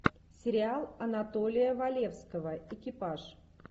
сериал анатолия валевского экипаж